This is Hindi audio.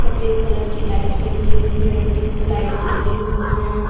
सफेद कलर की लाइट लगी हुई हैं ट्यूबलाइट लगी हुई हैं।